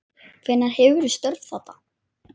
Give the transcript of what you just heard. Hvenær hefurðu störf þarna?